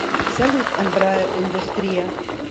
салют эмбраер индустрия